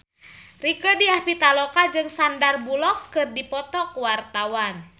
Rieke Diah Pitaloka jeung Sandar Bullock keur dipoto ku wartawan